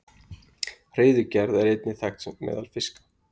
Hreiðurgerð er einnig þekkt meðal fiska.